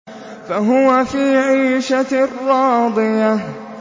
فَهُوَ فِي عِيشَةٍ رَّاضِيَةٍ